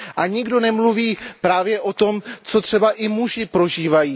A nikdo nemluví právě o tom, co třeba i muži prožívají.